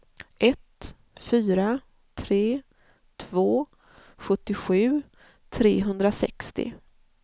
ett fyra tre två sjuttiosju trehundrasextio